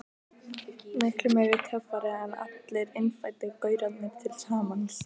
Miklu meiri töffari en allir innfæddu gaurarnir til samans.